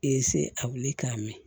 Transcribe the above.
a wuli k'a mɛn